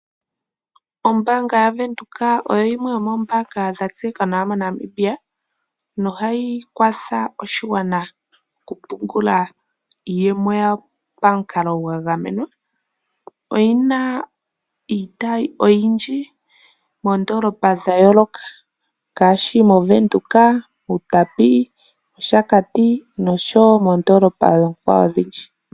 Ombaanga yaWindhoek oyo yimwe yomoombaanga dha tseyika nawa moNamibia. Noha yi kwatha oshigwana oku pungula iiyemo yayo pamukalo gwa gamenwa. Oyi na iitayi oyindji moondoolopa dha yooloka ngaashi moWindhoek, mUutapi, Oshakati noshowo moondoolopa oonkwawo odhindji.